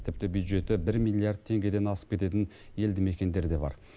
тіпті бюджеті бір миллиард теңгеден асып кететін елді мекендер де бар